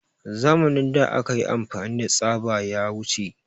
Zamanin da akayi amfani da tsaba ya wuce